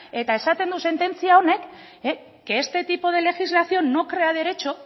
eta esaten du sententzia honek que este tipo de legislación no crea derecho